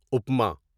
upma